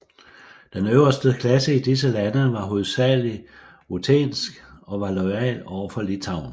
Den øverste klasse i disse lande var hovedsageligt ruthensk og var loyal over for Litauen